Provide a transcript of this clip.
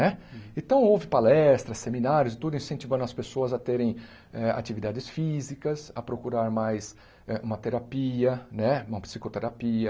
Né então houve palestras, seminários, tudo incentivando as pessoas a terem eh atividades físicas, a procurar mais eh uma terapia né, uma psicoterapia,